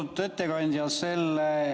Austatud ettekandja!